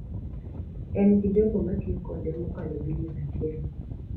En gi jogo matiyo kode mokalo bilion achiel